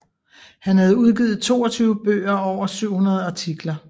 Han havde udgivet 22 bøger og over 700 artikler